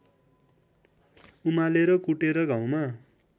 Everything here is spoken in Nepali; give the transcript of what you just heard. उमालेर कुटेर घाउमा